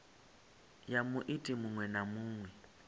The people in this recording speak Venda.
ya muiti muṅwe na muṅwe